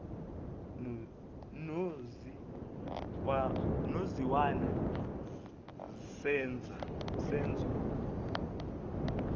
nozi wena senzo